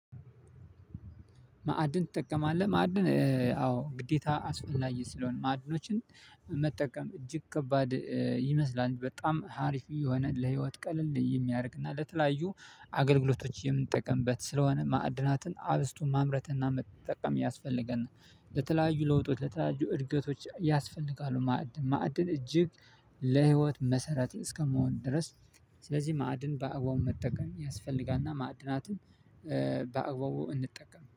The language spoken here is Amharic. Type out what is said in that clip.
ማዕድን ትጠቀማለህ ማዕድን አዎ ግዴታ አስፈላጊ ስለሆነ ማዕድኖችን መጠቀም እጅግ ከባድ ይመስላል በጣም ሀሪፍ የሆነ ለህይወት ቀልል የሚያደርግና ለተለያዩ አገልግሎቶች የምንጠቀምበት ስለሆነ ማዕድናትን አብዝቶ ማምረትና መጠቀም ያስፈልገናል ለተለያዩ ለውጦች ለተለያዩ እድገቶች ያስፈልጋሉ ማዕድን ማዕድን እጅግ ለህይወት መሰረት እስከመሆን ድረስ ስለዚህ ማዕድን በአግባቡ መጠቀም ያስፈልጋልና ማዕድናትን በአግባቡ እንጠቀም